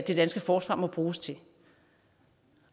det danske forsvar må bruges til